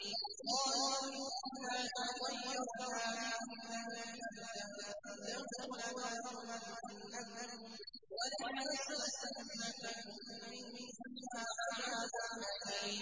قَالُوا إِنَّا تَطَيَّرْنَا بِكُمْ ۖ لَئِن لَّمْ تَنتَهُوا لَنَرْجُمَنَّكُمْ وَلَيَمَسَّنَّكُم مِّنَّا عَذَابٌ أَلِيمٌ